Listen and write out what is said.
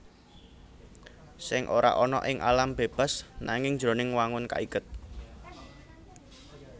Sèng ora ana ing alam bébas nanging jroning wangun kaiket